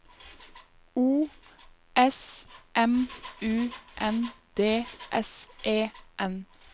O S M U N D S E N